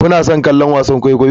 Kuna son kallon wasan kwaikwayo?